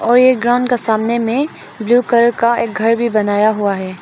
और ये ग्राउंड का सामने मे ब्लू कलर का एक घर भी बनाया हुआ है।